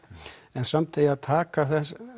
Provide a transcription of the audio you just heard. en samt eigi að taka